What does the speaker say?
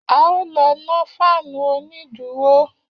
A ó lọ nọ́ fáànù onídùúró